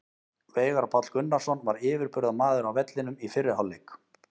Veigar Páll Gunnarsson var yfirburðamaður á vellinum í fyrri hálfleik.